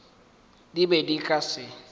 di be di ka se